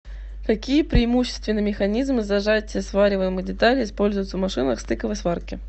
какие преимущественно механизмы зажатия свариваемых деталей используются в машинах стыковой сварки